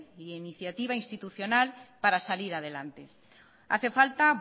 e iniciativa institucional para salir adelante hace falta